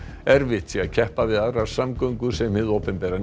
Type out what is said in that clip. erfitt sé að keppa við aðrar samgöngur sem hið opinbera